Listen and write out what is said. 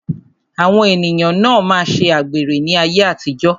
Àwọn ènìyàn na máa ṣe àgbèrè ní ayé àtijó.